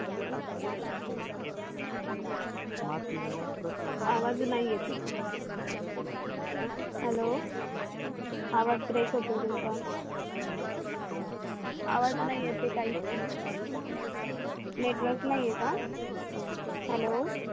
आवाज नाही येत आहे हॅलो आवाज ब्रेक होतोय तुमचा आवाज नाही येत काहीच NETWORK नाही आहे का हॅलो